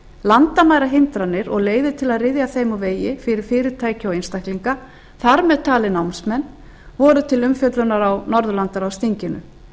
landamærahindranir og leiðir til að ryðja þeim úr vegi fyrir fyrirtæki og einstaklinga þar með talið námsmenn voru til umfjöllunar á norðurlandaráðsþinginu